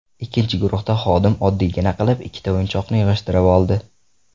Ikkinchi guruhda xodim oddiygina qilib ikkita o‘yinchoqni yig‘ishtirib oldi.